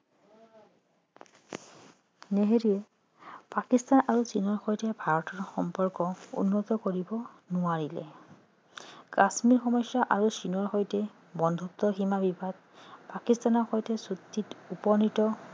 নেহেৰুৱে পাকিস্থান আৰু চীনৰ সৈতে ভাৰতৰ সম্পৰ্ক উন্নত কৰিব নোৱাৰিলে কাশ্মীৰ সমস্যা আৰু চীনৰ সৈতে বন্ধুত্ব সীমা বিবাদ পাকিস্থানৰ সৈতে চুক্তিত উপনীত